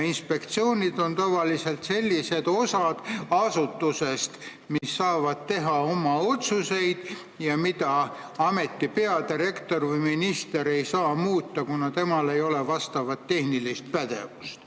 Inspektsioonid on tavaliselt asutuse sellised osad, mis saavad teha oma otsuseid, mida ameti peadirektor või minister ei saa muuta, kuna tal ei ole vastavat tehnilist pädevust.